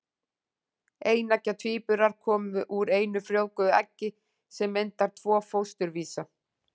Eineggja tvíburar koma úr einu frjóvguðu eggi sem myndar tvo fósturvísa.